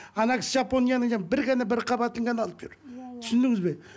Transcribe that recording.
ана кісі жапонияның бір ғана бір қабатын ғана алып жүр түсіндіңіз бе